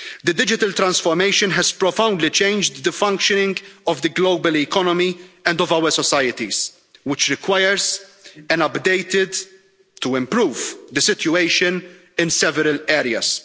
Digital transformation has profoundly changed the functioning of the global economy and of our societies, which requires an update to improve the situation in several areas.